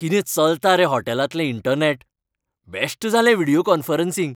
कितें चलता रे हॉटेलांतलें इंटरनॅट. बॅश्ट जालें व्हिडियो कॉन्फरन्सिंग.